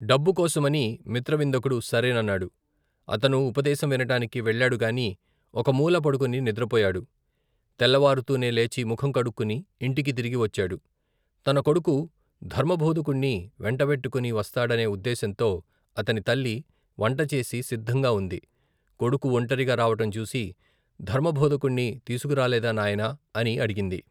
డబ్బుకోసమని మిత్రవిందకుడు సరేనన్నాడు అతను ఉపదేశం వినటానికి వెళ్ళాడుగాని ఒక మూల పడుకుని నిద్రపోయాడు తెల్లవారుతూనే లేచి ముఖం కడుక్కుని ఇంటికి తిరిగి వచ్చాడు తన కొడుకు ధర్మబోధకుణ్ణి వెంటబెట్టుకుని, వస్తాడనే ఉద్దేశంతో అతని తల్లి వంటచేసి సిద్దంగా ఉంది కొడుకు ఒంటరిగా రావటం చూసి ధర్మభోధకుణ్ణి తీసుకురాలేదా నాయనా అని అడిగింది.